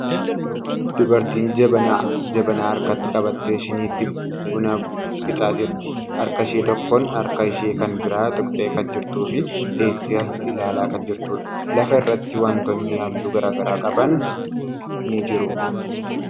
Dubartiin jabanaa harkatti qabattee shiniitti buna qicaa jirti. Harka ishee tokkoon harka ishee kan biraa tuqxee kan jirtuu fi teessee as ilaalaa kan jirtuudha. Lafa irratti wantootni halluu garagaraa qaban ni jiru.